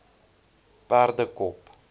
perdekop